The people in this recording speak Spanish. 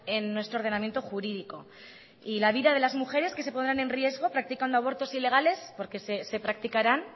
en nuestro ordenamiento jurídico y la vida de las mujeres que se pondrán en riesgo practicando abortos ilegales porque se practicarán